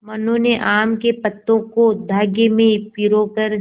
मनु ने आम के पत्तों को धागे में पिरो कर